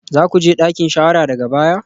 Za ku je dakin shawara daga baya?